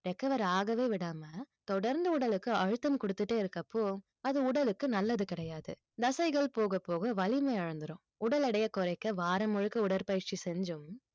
recover ஆகவே விடாம தொடர்ந்து உடலுக்கு அழுத்தம் கொடுத்துட்டே இருக்கப்போ அது உடலுக்கு நல்லது கிடையாது தசைகள் போகப் போக வலிமை இழந்துரும் உடல் எடையை குறைக்க வாரம் முழுக்க உடற்பயிற்சி செஞ்சும்